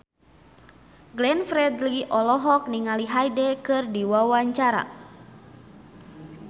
Glenn Fredly olohok ningali Hyde keur diwawancara